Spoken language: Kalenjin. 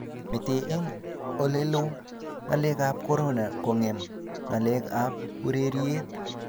mete eng olelo ngalek ab korona kongem ngalek ab ureriet